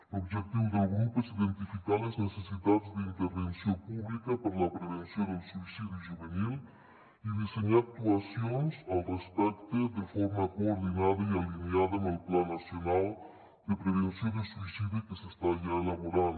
l’objectiu del grup és iden·tificar les necessitats d’intervenció pública per a la prevenció del suïcidi juvenil i dissenyar actuacions al respecte de forma coordinada i alineada amb el pla nacional de prevenció del suïcidi que s’està elaborant